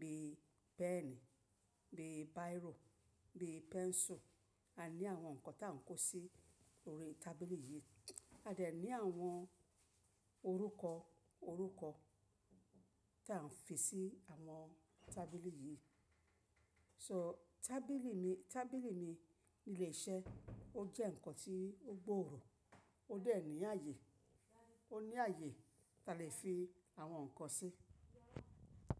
bíi pẹ́ẹ̀ní, bíi bírò, bíi pẹ́ńsù. A ní àwọn nǹkan ta ń kó sí orí tábìlì yìí. A de ní àwọn orúkọ orúkọ ta ń fi sí àwọn tábìlì yìí. So tábìlì mi, tábìlì mi ni ilé iṣẹ́ ó jẹ́ nǹkan tí ó gbòòrò, ó de ní ààyè, ó ní ààyè ta lè fi àwọn nǹkan sí.